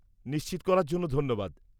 নিশ্চিত করার জন্য ধন্যবাদ।